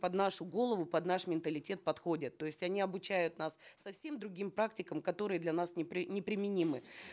под нашу голову под наш менталитет подходят то есть они обучают нас совсем другим практикам которые для нас неприменимы